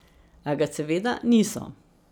A ga, seveda, niso.